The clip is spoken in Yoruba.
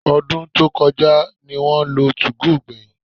Ọdún tí ó kọjá ní wọ́n lo 2go gbẹ̀yìn